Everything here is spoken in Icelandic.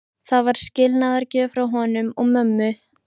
Það var skilnaðargjöf frá honum og mömmu.